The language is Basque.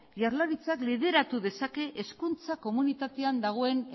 jaurlaritzak lideratu dezake hezkuntza komunitatean dagoen